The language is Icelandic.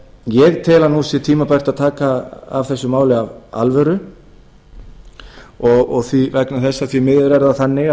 ég tel að nú sé tímabært að taka á þessu máli af alvöru vegna þess að því miður er það þannig